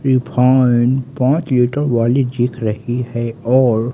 refined पांच litre वाली जिख रही है और--